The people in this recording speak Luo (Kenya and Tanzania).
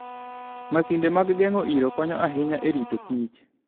Masinde mag geng'o iro konyo ahinya e ritokich